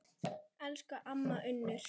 Elsku amma Unnur.